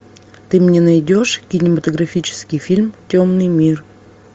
ты мне найдешь кинематографический фильм темный мир